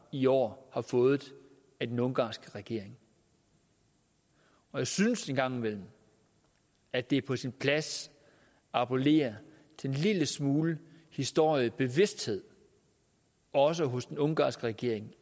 i år har fået af den ungarske regering og jeg synes en gang imellem at det er på sin plads at appellere til en lille smule historiebevidsthed også hos den ungarske regering